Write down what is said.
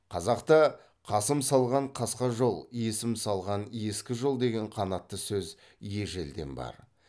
қазақта қасым салған қасқа жол есім салған ескі жол деген қанатты сөз ежелден бар